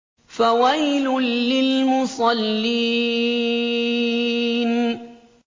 فَوَيْلٌ لِّلْمُصَلِّينَ